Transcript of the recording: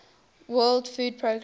world food programme